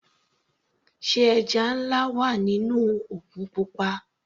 Sé ẹja nlá wà nínú òkun pupa.